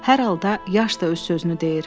hər halda yaş da öz sözünü deyir.